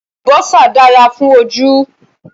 Àlùbásà dára fún ojú